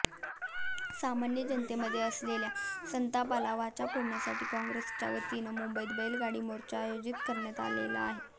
सामान्य जनतेमध्ये असलेल्या संतापाला वाचा फोडण्यासाठी काँग्रेसच्या वतीनं मुंबईत बैलगाडी मोर्चाचे आयोजन करण्यात आले होते